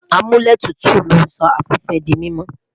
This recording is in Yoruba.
Amuletutu n sọ afẹfẹ di mimọ